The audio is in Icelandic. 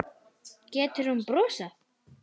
Getur hún brosað?